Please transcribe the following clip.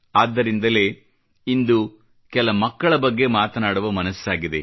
ಆದ್ದರಿಂದಲೇ ಇಂದು ಕೆಲ ಮಕ್ಕಳ ಬಗ್ಗೆ ಮಾತನಾಡುವ ಮನಸ್ಸಾಗಿದೆ